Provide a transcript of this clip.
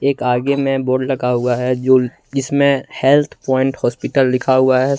एक आगे में बोर्ड लगा हुआ है जो जिसमें हेल्थ प्वाइंट हॉस्पिटल लिखा हुआ है।